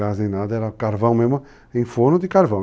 nem nada, era carvão mesmo em forno de carvão.